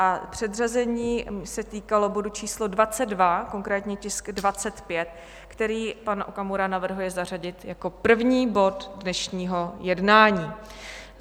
A předřazení se týkalo bodu č. 22, konkrétně tisk 25, který pan Okamura navrhuje zařadit jako první bod dnešního jednání.